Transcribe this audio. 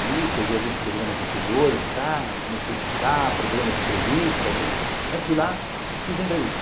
Vi, peguei alguns programas anteriores do cara, comecei a escutar, programa de entrevista, fui lá, fiz a entrevista.